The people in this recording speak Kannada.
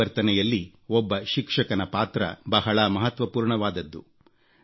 ಪರಿವರ್ತನೆಯಲ್ಲಿ ಒಬ್ಬ ಶಿಕ್ಷಕನ ಪಾತ್ರ ಬಹಳ ಮಹತ್ವಪೂರ್ಣವಾದದ್ದು